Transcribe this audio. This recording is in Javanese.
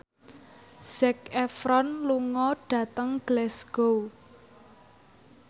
Zac Efron lunga dhateng Glasgow